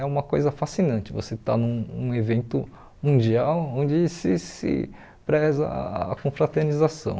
É uma coisa fascinante você estar num um evento mundial onde se se preza a confraternização.